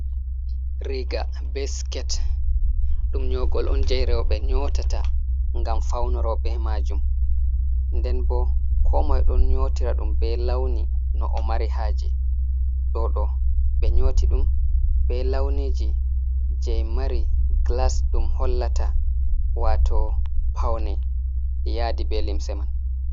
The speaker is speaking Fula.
Riiga be sket, ɗum nyogol on jei rowɓe nyotata ngam faunoro be maajum. Nden bo komoi ɗon nyotira ɗum be launi no o mari haaje. Ɗo ɗo ɓe nyooti ɗum, be launiji jei mari glas ɗum hollata waato paune yaadi be limse man.